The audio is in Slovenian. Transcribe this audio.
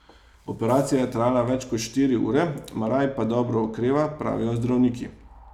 Operacija je trajala več kot štiri ure, Maraj pa dobro okreva, pravijo zdravniki.